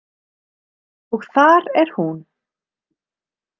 Og þar er hún.